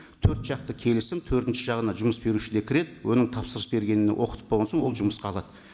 төрт жақты келісім төртінші жағына жұмыс беруші де кіреді оның тапсырыс бергеніне оқытып болған соң ол жұмысқа алады